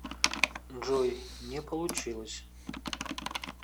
джой не получилось